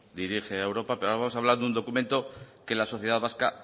dirige a europa pero vamos hablar de un documento que la sociedad vasca